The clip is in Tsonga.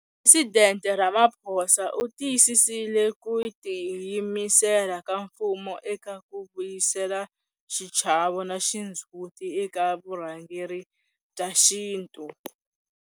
Presidente Ramaphosa u tiyisisile ku ti yimisela ka mfumo eka ku vuyisela xichavo na xindzhuti eka vurhangeri bya xintu.